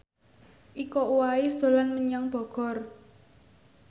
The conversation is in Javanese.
Iko Uwais dolan menyang Bogor